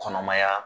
Kɔnɔmaya